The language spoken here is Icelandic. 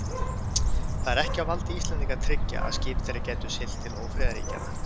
Það var ekki á valdi Íslendinga að tryggja, að skip þeirra gætu siglt til ófriðarríkjanna.